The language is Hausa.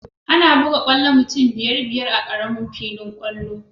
Ana buga kwallo mutum biyar-biyar a ƙaramin filin kwallo.